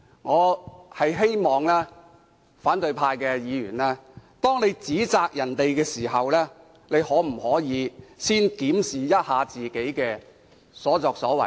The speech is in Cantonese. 我希望反對派議員在指責別人前，先檢討自己的所作所為。